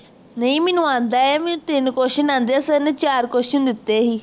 ਨਹੀਂ ਮੈਨੂੰ ਆਂਦਾ ਹੈ ਮੈਨੂੰ ਤਿੰਨ question ਆਂਦੇ ਹੈ sir ਨੇ ਚਾਰ question ਦਿੱਤੇ ਸੀ